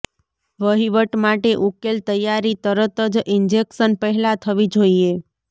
વહીવટ માટે ઉકેલ તૈયારી તરત જ ઈન્જેક્શન પહેલાં થવી જોઈએ